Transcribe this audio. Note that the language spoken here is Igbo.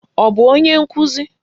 Ọ bụ onye nkuzi?